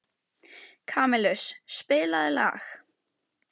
Kamilus, spilaðu lag.